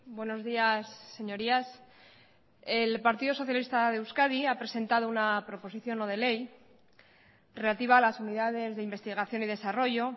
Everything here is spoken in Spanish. buenos días señorías el partido socialista de euskadi ha presentado una proposición no de ley relativa a las unidades de investigación y desarrollo